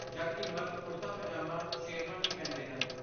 ਜਦਕਿ ਮਰਦ ਕੁੜਤਾ, ਪਜਾਮਾ, ਸ਼ੇਰਵਾਨੀ ਪਹਿਨਦੇ ਹਨ।